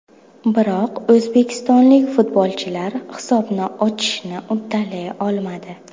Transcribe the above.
Biroq o‘zbekistonlik futbolchilar hisobni ochishni uddalay olmadi.